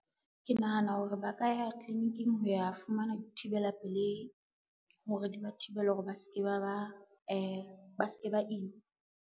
Ke nahana hore ba ka ya tliliniking ho ya fumana dithibela pelehi, hore di ba thibele hore ba se ke ba ima.